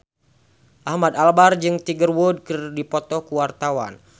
Ahmad Albar jeung Tiger Wood keur dipoto ku wartawan